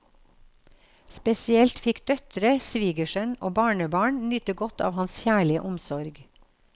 Spesielt fikk døtre, svigersønn og barnebarn nyte godt av hans kjærlige omsorg.